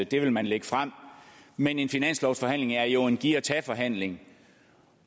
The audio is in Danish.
det vil man lægge frem men en finanslovsforhandling er jo en giv og tag forhandling